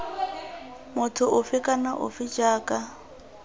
motho ofe kana ofe jaaka